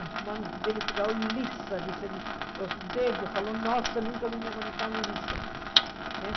As mãos dele ficavam lisas, os dedos, falou, nossa, nunca vi minha mão tão lisa assim né.